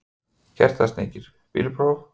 Kertasníkir: Bílpróf?